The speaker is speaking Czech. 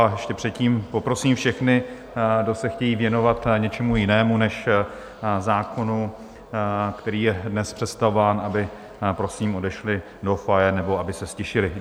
A ještě předtím poprosím všechny, kdo se chtějí věnovat něčemu jinému než zákonu, který je dnes představován, aby prosím odešli do foyer nebo aby se ztišili.